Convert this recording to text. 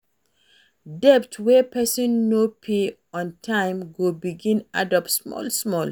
Debt wey person no pay on time go begin add up small small